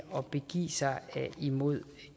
at begive sig imod